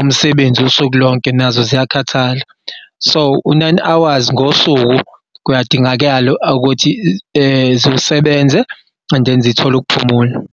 umsebenzi usuku lonke nazo ziyakhathala. So, u-nine hours ngosuku kuyadingakala ukuthi ziwusebenze and then zithol'ukuphumula.